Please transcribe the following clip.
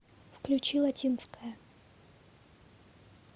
включи латинская